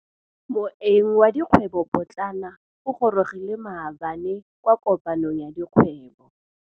Moêng wa dikgwêbô pôtlana o gorogile maabane kwa kopanong ya dikgwêbô.